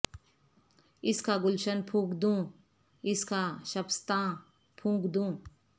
اس کا گلشن پھونک دوں اس کا شبستاں پھونک دوں